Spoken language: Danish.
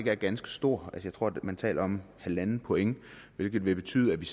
er ganske stor jeg tror at man taler om en point hvilket vil betyde at vi